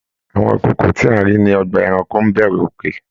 Àwọn ikòkò tí a rí ní ọgbà ẹranko n b'ẹrù òkè.